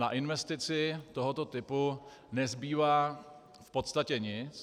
Na investici tohoto typu nezbývá v podstatě nic.